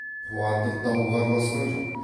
қуандық дауға араласқан жоқ